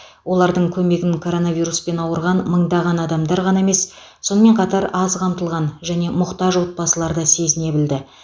олардың көмегін коронавируспен ауырған мыңдаған адамдар ғана емес сонымен қатар аз қамтылған және мұқтаж отбасылар да сезіне білді